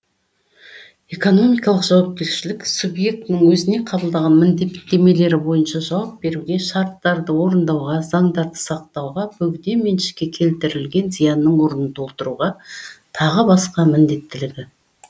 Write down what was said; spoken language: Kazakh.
экономикалық жауапкершілік субъектінің өзіне қабылдаған міндеттемелері бойынша жауап беруге шарттарды орындауға заңдарды сақтауға бөгде меншікке келтірілген зиянның орнын толтыруға тағы басқа міндеттілігі